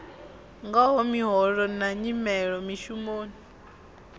ngaho miholo na nyimelo mishumoni